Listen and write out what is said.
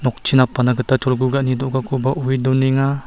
nokchi napangna gita cholgugani do·gakoba oe donenga.